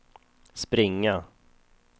springa